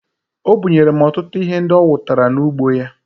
O bunyere m ọtụtụ ihe ndị o wutara n'ugbo ya